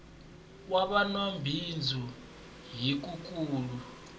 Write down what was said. wa va nwabindzu hi wu nkulu